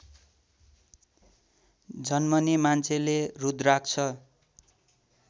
जन्मने मान्छेले रुद्राक्ष